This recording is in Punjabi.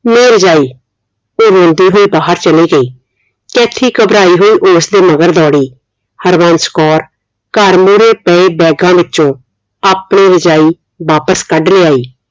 no ਰਜਾਈ ਉਹ ਰੋਂਦੇ ਹੋਏ ਬਾਹਰ ਚਲੀ ਗਈ ਕੈਥੀ ਘਬਰਾਈ ਹੋਈ ਉਸਦੇ ਮਗਰ ਦੌੜੀ ਹਰਬੰਸ ਕੌਰ ਘਰ ਮੁਰੇ ਪਏ ਬੈਗਾਂ ਵਿਚੋਂ ਆਪਣੀ ਰਜਾਈ ਵਾਪਿਸ ਕੱਢ ਲਿਆਈ